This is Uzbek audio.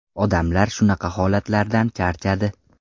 Odamlar shunaqa holatlardan charchadi.